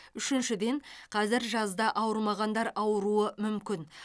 үшіншіден қазір жазда ауырмағандар ауыруы мүмкін